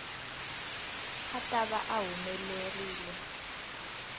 a ta va a humelerile